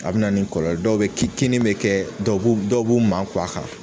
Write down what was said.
A bi na nin kɔlɔlɔ dɔw ki kini be kɛ dɔw b'u dɔw b'u makun a kan